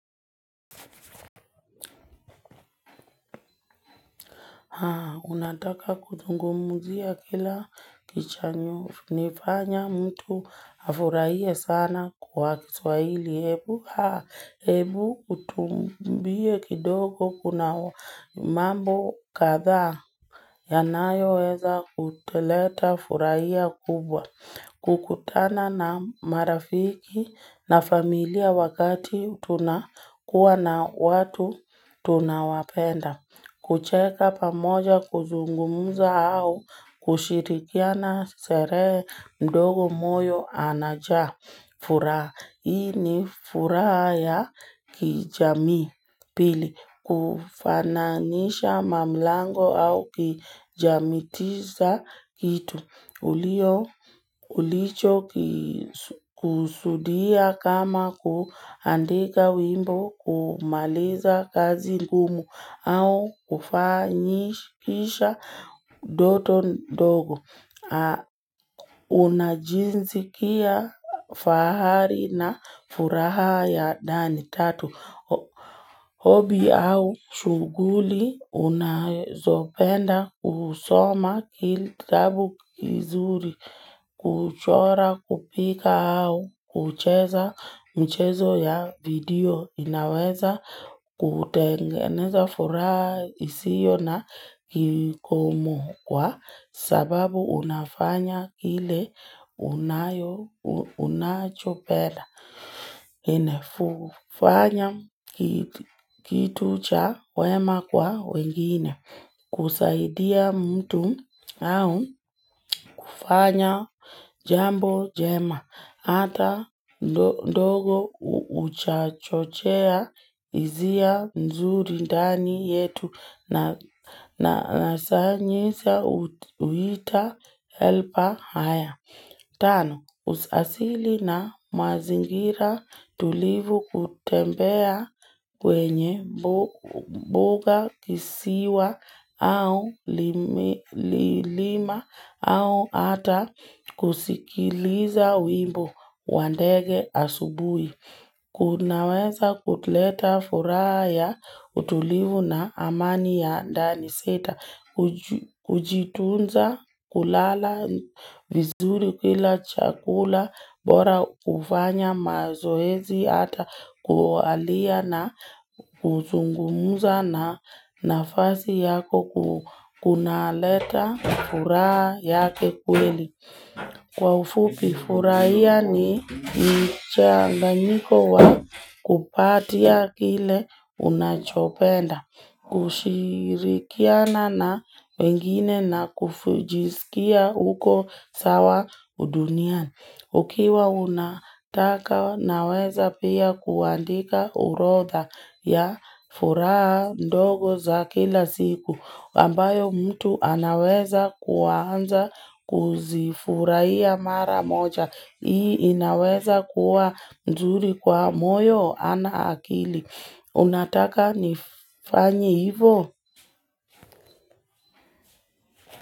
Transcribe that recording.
Unataka kuzungumzia kila kichafanya mtu afurahie sana kwa kiswahili. Hebu utuambie kidogo kuna mambo kadhaa. Yanayoweza kutuletea furaha kubwa. Kukutana na marafiki na familia wakati tunakuwa na watu tunawapenda. Kucheka pamoja kuzungumza au kushirikiana sherehe ndogo moyo inajaa furaha. Hii ni furaha ya kijamii pili. Kufananisha milango au kijamitiza kitu. Ulicho kusudia kama kuandika wimbo, kumaliza kazi ngumu au kufanikisha ndoto ndogo. Unajisikia fahari na furaha ya ndani tatu. Hobie au shuguli unazopenda kusoma kitabu kizuri, kuchora, kupika au kucheza mchezo wa video unaweza kutengeneza furaha isiyo na kikomo kwa sababu unafanya kile unachopenda. Kufanya kitu cha wema kwa wengine kusaidia mtu au kufanya jambo jema hata ndogo huchochea hizia nzuri ndani yetu na sanyisa huita helpa haya Tano, asili na mazingira tulivu kutembea kwenye mbuga, kisiwa au lima au ata kusikiliza wimbo wa ndege asubuhi. Kunaweza kuleta furaha ya utulivu na amani ya ndani. Sita kujitunza, kulala, vizuri, kula chakula, kufanya mazoezi, ata kualia na kuzungumza na nafsi yako kuna leta furaha ya kweli. Kwa ufupi, furaha ni mchanganyiko wa kupata kile unachopenda, kushirikiana na wengine na kujisikia uko sawa duniani. Ukiwa unataka unaweza pia kuandika orodha ya furaha ndogo za kila siku ambayo mtu anaweza kuanza kuzifurahia ya mara moja. Hii inaweza kuwa nzuri kwa moyo ama akili unataka nifanye hivo?